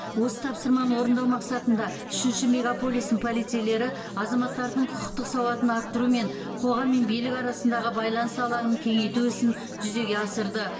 осы тапсырманы орындау мақсатында үшінші мегаполистің полицейлері азаматтардың құқықтық сауатын арттыру мен қоғам мен билік арасындағы байланыс алаңын кеңейту ісін жүзеге асырды